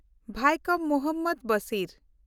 Vaikom Muhammad Basir